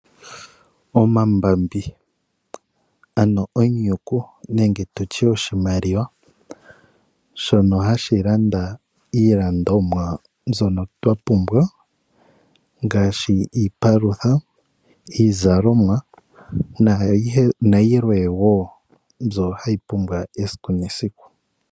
Omambambi ano onyuku nenge tutye oshimaliwa shono hashi landa iilandomwa mbyono twapumbwa, ngaashi iipalutha iizalomwa nayilwe woo mbyo hayi pumbiwa esiku nesiku.